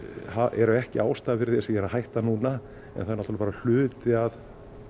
eru ekki ástæða þess að ég er að hætta núna en eru náttúrlega bara hluti af